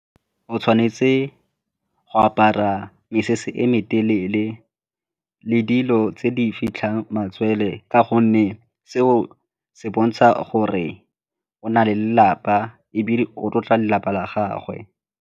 O tshwanetse go apara mesese e me telele le dilo tse di fitlhang matswele ka gonne seo se bontsha gore o na le lelapa ebile o tlotla lelapa la gagwe.